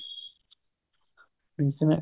ਠੀਕ ਏ